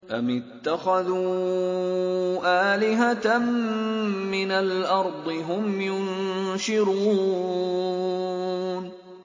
أَمِ اتَّخَذُوا آلِهَةً مِّنَ الْأَرْضِ هُمْ يُنشِرُونَ